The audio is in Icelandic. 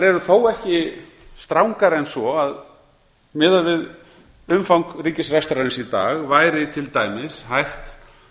eru þó ekki strangari en svo að miðað við umfang ríkisrekstrarins í dag væri til dæmis hægt